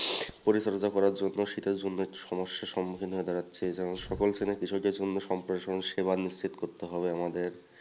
শীতের জন্য একটু সমস্যার সম্মুখীন হয়ে দাঁড়াচ্ছে এই যে সকল শ্রেণীর কৃষকের জন্য সেবা নিশ্চিত করতে হবে আমাদের।